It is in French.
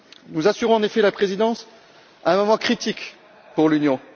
Nous assurons en effet la présidence à un moment critique pour l'Union.